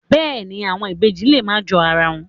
Bẹ́ẹ̀ ni, àwọn ibèjì lè má jọ ara wọn.